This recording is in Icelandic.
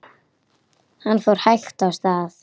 Hann fór hægt af stað.